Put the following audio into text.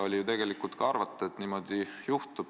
Oligi tegelikult arvata, et niimoodi juhtub.